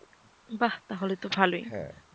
বাহ তাহলে তো ভালই। হ্যাঁ,